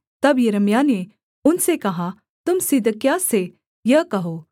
तब यिर्मयाह ने उनसे कहा तुम सिदकिय्याह से यह कहो